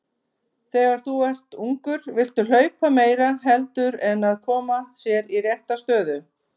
Þegar þú ert ungur viltu hlaupa meira heldur en að koma sér í rétta stöðu.